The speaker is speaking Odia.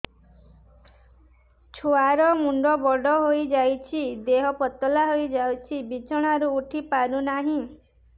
ଛୁଆ ର ମୁଣ୍ଡ ବଡ ହୋଇଯାଉଛି ଦେହ ପତଳା ହୋଇଯାଉଛି ବିଛଣାରୁ ଉଠି ପାରୁନାହିଁ